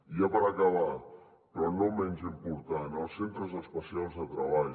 i ja per acabar però no menys important els centres especials de treball